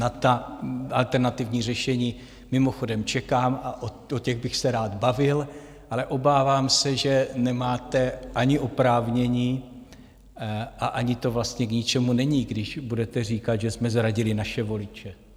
Na ta alternativní řešení mimochodem čekám a o těch bych se rád bavil, ale obávám se, že nemáte ani oprávnění, a ani to vlastně k ničemu není, když budete říkat, že jsme zradili naše voliče.